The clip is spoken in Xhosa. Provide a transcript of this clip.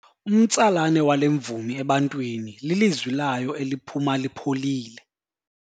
Umtsalane wale mvumi ebantwini lilizwi layo eliphuma lipholile.